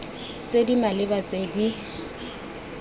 tse di maleba tse di